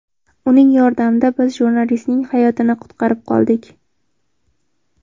Uning yordamida biz jurnalistning hayotini qutqarib qoldik.